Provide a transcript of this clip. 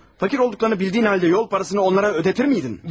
Fakir olduqlarını bildiyin halda yol parasını onlara ödətdirərdinmi?